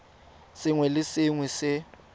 sengwe le sengwe se se